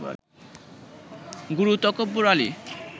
গুরু Takabbar আলি